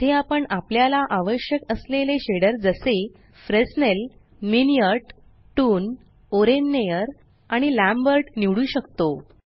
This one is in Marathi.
येथे आपण आपल्याला आवश्यक असलेले शेडर जसे Fresnel Minnaert toon oren Nayar आणि लॅम्बर्ट निवडू शकतो